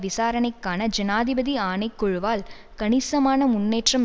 விசாரணைக்கான ஜனாதிபதி ஆணைக்குழுவால் கணிசமான முன்னேற்றம்